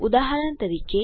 ઉદાહરણ તરીકે